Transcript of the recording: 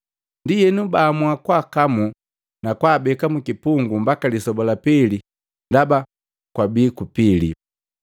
Ndienu baamua kwaakamu na kwaabeka mukipungu mbaka lisoba lapili ndaba kwabii kupili.